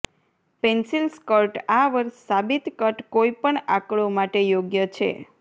pencil skirt આ વર્ષ સાબિત કટ કોઈપણ આંકડો માટે યોગ્ય છે